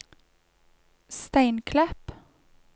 Steinklepp